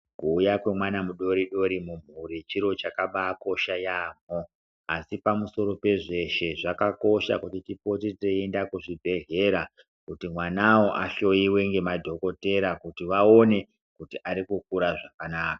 Kuuya kwemwana mudodori mumhuri chiro chakabakosha yambo asi pamusoro pezvese zvakakosha kuti tipote teienda kuchibhedhlera kuti mwana uyo ahloiwe nemadhokodheya kuti aone kuti akukura zvakanaka.